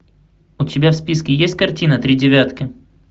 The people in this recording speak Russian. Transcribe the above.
у тебя в списке есть картина три девятки